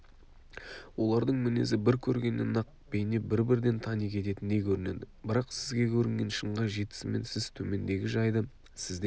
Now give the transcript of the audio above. олардың мінезі бір көргеннен-ақ бейне бір-бірден тани кететіндей көрінеді бірақ сізге көрінген шыңға жетісімен сіз төмендегі жайды сізден